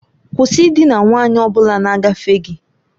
Kwụsị ịdina nwanyị ọ bụla na-agafe gị!